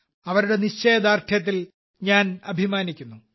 അവരുടെ നിശ്ചയദാർഢ്യത്തിൽ ഞാൻ അഭിമാനിക്കുന്നു